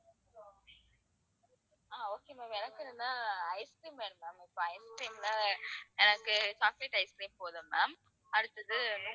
அஹ் okay ma'am எனக்கு இதுல ice cream வேணும் ma'am இப்ப ice cream ல எனக்கு chocolate ice cream போதும் ma'am அடுத்தது